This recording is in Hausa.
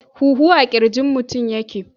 Huhu a kirjin mutum yake.